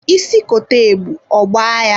Isi kote ebu, ọgba ya.